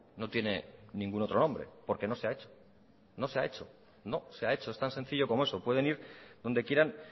no tiene ningún otro nombre porque no se ha hecho no se ha hecho no se ha hecho es tan sencillo como eso pueden ir dónde quieran